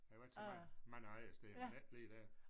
Jeg har været så mange mange andre steder men ikke lige der